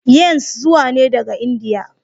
yans zuwa ne daga India.